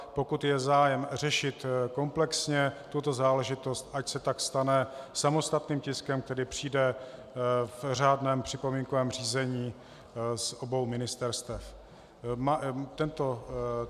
Pokud je zájem řešit komplexně tuto záležitost, ať se tak stane samostatným tiskem, který přijde v řádném připomínkovém řízení z obou ministerstev.